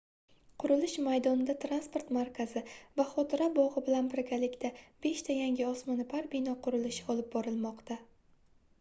qurilish maydonida transport markazi va xotira bogʻi bilan birgalikda beshta yangi osmonoʻpar bino qurilishi olib borilmoqda